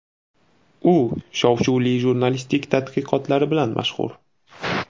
U shov-shuvli jurnalistik tadqiqotlari bilan mashhur.